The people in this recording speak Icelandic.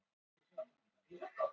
Hver var staða þeirra?